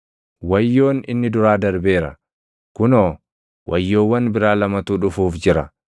Wayyoon inni duraa darbeera; kunoo, wayyoowwan biraa lamatu dhufuuf jira.